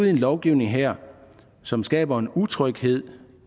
i en lovgivning her som skaber en utryghed